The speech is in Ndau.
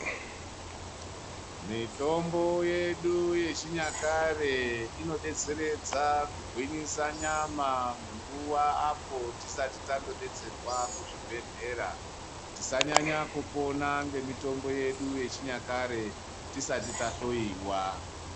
Mitombo yedu yechinyakare inodetseredze kugwinyisa nyama munguwa apo tisati tanodetserwa kuzvibhedhlera, tisanyanya kupona nemitombo yedu yechinyakare tisati tahloiwa.